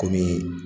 Kɔmi